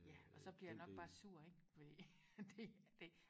ja og så bliver jeg nok bare sur ikke fordi det det